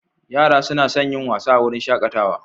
Yara suna son yin wasa a wurin shakatawa.